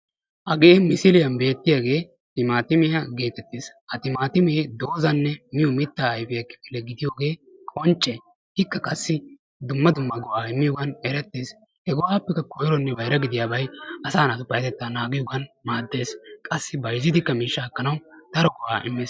Hagee misilliyan beettiyaagee timaatimmiya geetettees, ha timaatimme mitaa ayfe gidiyoogee qoncce, ikka qassi dumma dumma go'aa immiyoogee qoncce, ikka qassi dumma dumma go'aa immees, he go'aappekka koyronne bayrabay asaa naatussi payatettaa immees, bayzzidikka mishshaa ekkanawu daro go'aa immees.